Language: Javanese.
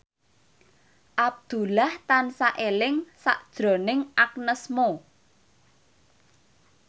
Abdullah tansah eling sakjroning Agnes Mo